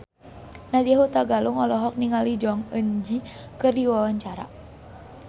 Nadya Hutagalung olohok ningali Jong Eun Ji keur diwawancara